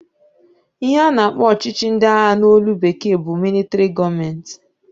Ihe a na-akpọ ọchịchị ndị agha n'olu bekee bụ militari gọọment.